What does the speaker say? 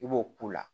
I b'o k'u la